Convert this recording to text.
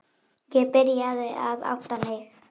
Ég byrjaði að átta mig.